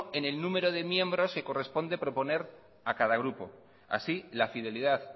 en el número de miembros que corresponde proponer a cada grupo así la fidelidad